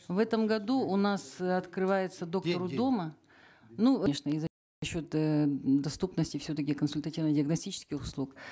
в этом году у нас э открывается доктор у дома ну и за счет э доступности все таки консультативно диагностических услуг